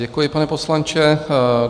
Děkuji, pane poslanče.